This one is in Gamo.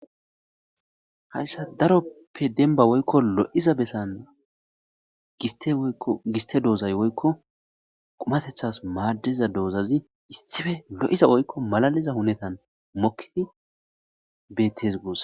hayssa daroppe denba woykko lo'iza bessan giste doozay woykko qumatethas maaddiza doozazi issife lo'iza woykko malaliza hunetan mokkidi bettes goos